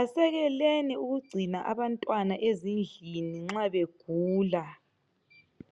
Asekeleni ukugcina abantwana ezindlini nxa begula.